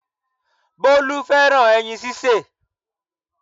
Bólú fẹ́ràn ẹyin sísè